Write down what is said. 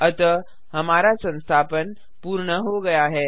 अतः हमारा संस्थापन पूर्ण हो गया है